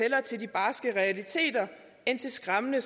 barske realiteter end til skræmmende